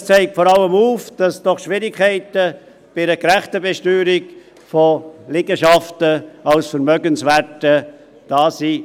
Es zeigt aber vor allem auf, dass doch Schwierigkeiten bei einer gerechten Besteuerung von Liegenschaften als Vermögenswerte da sind.